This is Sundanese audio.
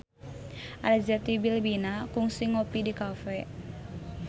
Arzetti Bilbina kungsi ngopi di cafe